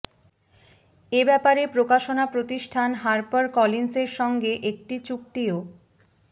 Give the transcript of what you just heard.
এ ব্যাপারে প্রকাশনা প্রতিষ্ঠান হার্পার কলিন্সের সঙ্গে একটি চুক্তিও